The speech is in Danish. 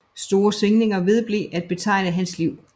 Store svingninger vedblev at betegne hans liv